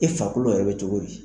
E farikolo yɛrɛ bɛ cogo di.